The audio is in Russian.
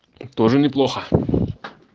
тоже неплохо